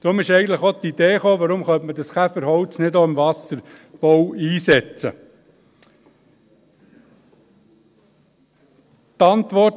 Deshalb ist eigentlich die Idee entstanden, warum man dieses Käferholz nicht auch im Wasserbau einsetzen könnte.